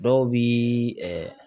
Dɔw bi ɛɛ